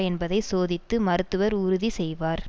என்பதை சோதித்து மருத்துவர் உறுதி செய்வார்